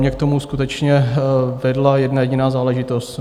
Mě k tomu skutečně vedla jedna jediná záležitost.